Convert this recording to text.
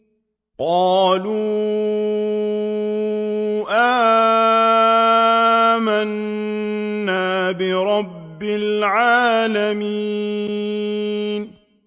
قَالُوا آمَنَّا بِرَبِّ الْعَالَمِينَ